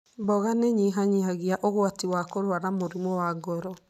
Mboga nĩ ĩnyihanyihia ũgwati wa kũrũara mũrimũ wa ngoro.